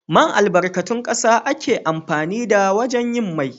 Man albarkatun ƙasa ake amfani da wajen yin mai